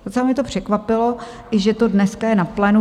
Docela mě to překvapilo, že to dnes je na plénu.